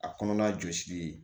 A kɔnɔna jɔsili ye